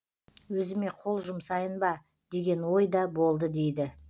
өзіме қол жұмсайын ба деген ой да болды дейді